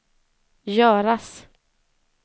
göras